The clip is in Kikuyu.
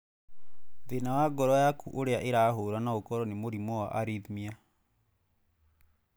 Thĩna wa ngoro yakũ ũrĩa ĩrahũra no ũkoro nĩ mũrimũ wa arrhythmia.